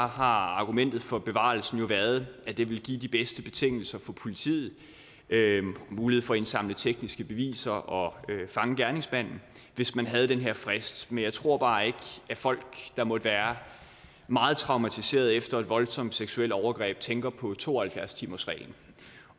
har argumentet for bevarelsen jo været at det ville give de bedste betingelser for politiet mulighed for at indsamle tekniske beviser og fange gerningsmanden hvis man havde den her frist men jeg tror bare ikke at folk der måtte være meget traumatiserede efter et voldsomt seksuelt overgreb tænker på to og halvfjerds timersreglen